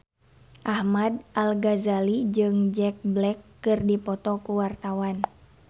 Ahmad Al-Ghazali jeung Jack Black keur dipoto ku wartawan